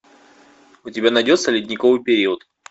у тебя найдется ледниковый период